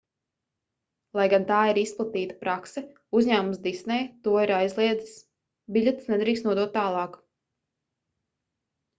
lai gan tā ir izplatīta prakse uzņēmums disney to ir aizliedzis biļetes nedrīkst nodot tālāk